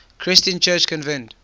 christian church convened